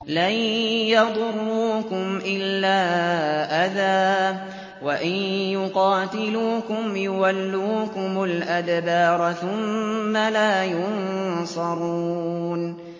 لَن يَضُرُّوكُمْ إِلَّا أَذًى ۖ وَإِن يُقَاتِلُوكُمْ يُوَلُّوكُمُ الْأَدْبَارَ ثُمَّ لَا يُنصَرُونَ